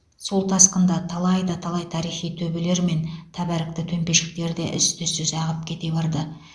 сол тасқында талай да талай тарихи төбелер мен тәбәрікті төмпешіктер де із түзсіз ағып кете барды